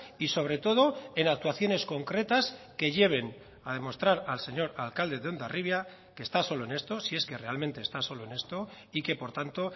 y sobre todo en actuaciones concretas que lleven a demostrar al señor alcalde de hondarribia que está solo en esto si es que realmente está solo en esto y que por tanto